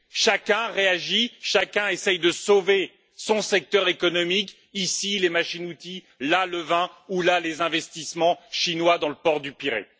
Chacun réagit, chacun essaie de sauver son secteur économique, ici les machines outils, là le vin, ou là les investissements chinois dans le port du Pirée.